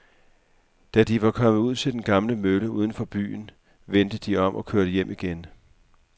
Da de var kommet ud til den gamle mølle uden for byen, vendte de om og kørte hjem igen.